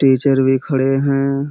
Teacher भी खड़े हैं।